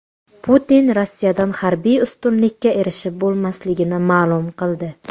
Putin Rossiyadan harbiy ustunlikka erishib bo‘lmasligini ma’lum qildi.